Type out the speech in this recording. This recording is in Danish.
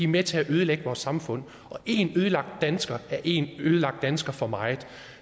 med til at ødelægge vores samfund og en ødelagt dansker er en ødelagt dansker for meget